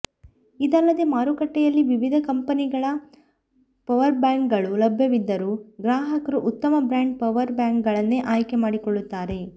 ಇದಲ್ಲದೆ ಮಾರುಕಟ್ಟೆಯಲ್ಲಿ ವಿವಿಧ ಕಂಪೆನಿಗಳ ಪವರ್ಬ್ಯಾಂಕ್ಗಳು ಲಭ್ಯವಿದ್ದರೂ ಗ್ರಾಹಕರು ಉತ್ತಮ ಬ್ರ್ಯಾಂಡ್ನ ಪವರ್ ಬ್ಯಾಂಕ್ಗಳನ್ನೇ ಆಯ್ಕೆ ಮಾಡಿಕೊಳ್ಳುತ್ತಾರೆ